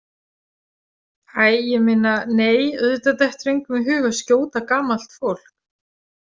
æ ég meina, nei, auðvitað dettur engum í hug að skjóta gamalt fólk.